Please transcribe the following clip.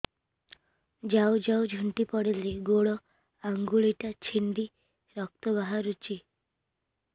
ଯାଉ ଯାଉ ଝୁଣ୍ଟି ପଡ଼ିଲି ଗୋଡ଼ ଆଂଗୁଳିଟା ଛିଣ୍ଡି ରକ୍ତ ବାହାରୁଚି